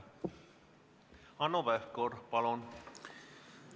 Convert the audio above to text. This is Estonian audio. Hanno Pevkur, palun!